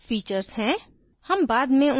modules features हैं